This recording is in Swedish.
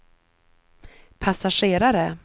passagerare